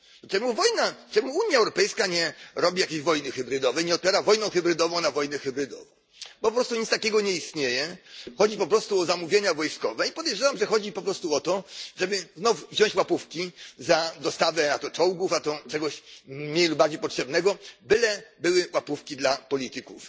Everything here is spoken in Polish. Dlaczego Unia Europejska nie robi jakiejś wojny hybrydowej, nie odpowiada wojną hybrydową na wojny hybrydowe? Po prostu nic takiego nie istnieje, chodzi po prostu o zamówienia wojskowe i podejrzewam ,że chodzi po prostu o to, żeby znów wziąć łapówki za dostawy, a to czołgów, a to czegoś mniej lub bardziej potrzebnego, byle były łapówki dla polityków.